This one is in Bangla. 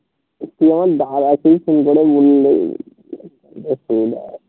তুই আমার দাদাকেই ফোন করে বললেই হয়ে যাবে